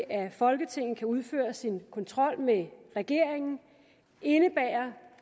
at folketinget kan udføre sin kontrol med regeringen indebærer